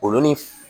Olu ni